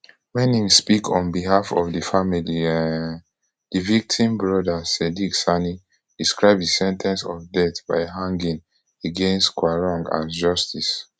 wen im speak on behalf of di family um di victim brother sadiq sani describe di sen ten ce of death by hanging against quarong as justice